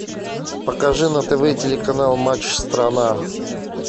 покажи на тв телеканал матч страна